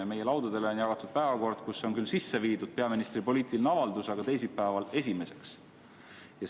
Meie laudadele on jagatud päevakord, kuhu on küll sisse viidud peaministri poliitiline avaldus, aga teisipäeval esimeseks päevakorrapunktiks.